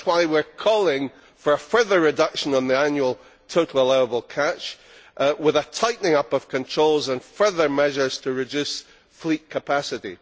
That is why we are calling for a further reduction on the annual total allowable catch, with a tightening up of controls and further measures to reduce fleet capacity.